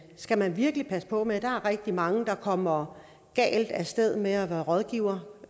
skal man virkelig passe på med der er rigtig mange der kommer galt af sted med at være rådgiver